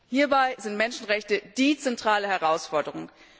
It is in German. Hierbei sind Menschenrechte die zentrale Herausforderung.